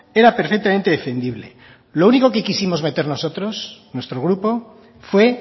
era perfectamente defendible lo único que quisimos meter nosotros nuestro grupo fue